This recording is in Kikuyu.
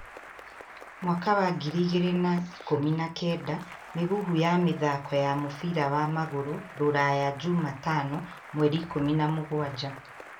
2018 Mĩhuhu ya mĩthaako ya mũbira wa magũrũ rũraya jumatano 17.